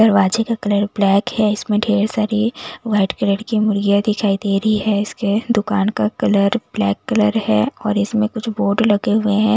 दरवाजे का colour black है इसमें ढेर सारी वाइट कलर की मुर्गियां दिखाई दे रही है इसके दुकान का कलर ब्लैक कलर है और इसमें कुछ बोर्ड लगे हुए हैं।